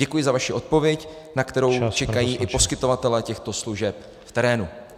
Děkuji za vaši odpověď, na kterou čekají i poskytovatelé těchto služeb v terénu.